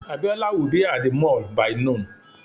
Abiola will be at the mall by noon